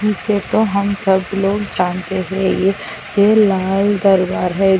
इसे तो हम सब लोग जानते है ये ये लाल दरबार है।